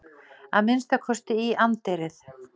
Að minnsta kosti í anddyrið.